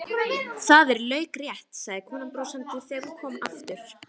Það er laukrétt, sagði konan brosandi þegar hún kom aftur.